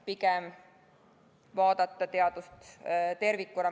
Pigem tuleks vaadata teadust tervikuna.